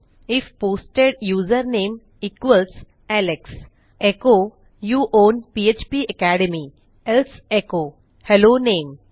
if posted user name equals Alex echo you own PHP academy else echo hello name